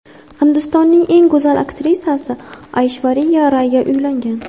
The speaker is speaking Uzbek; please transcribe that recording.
Hindistonning eng go‘zal aktrisasi Ayshvariya Rayga uylangan.